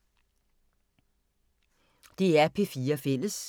DR P4 Fælles